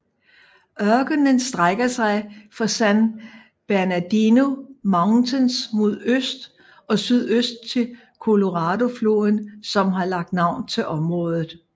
Ørkenen strækker sig fra San Bernardino Mountains mod øst og sydøst til Coloradofloden som har lagt navn til området